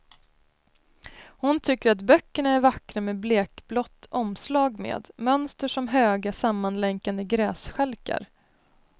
Hon tycker att böckerna är vackra med blekblått omslag med mönster som höga, sammanlänkade grässtjälkar.